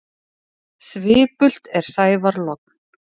Svipult er sævar logn.